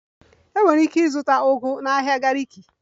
Ị nwere ike ịzụta ugu na ahịa Gariki